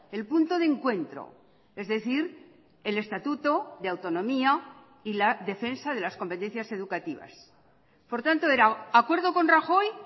el punto de encuentro es decir el estatuto de autonomía y la defensa de las competencias educativas por tanto era acuerdo con rajoy